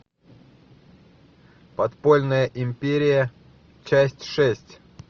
подпольная империя часть шесть